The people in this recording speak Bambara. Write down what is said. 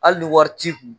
Hali ni wari t'i kun